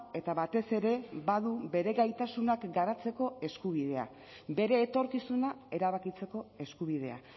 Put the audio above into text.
eta batez ere badu bere gaitasunak garatzeko eskubidea bere etorkizuna erabakitzeko eskubidea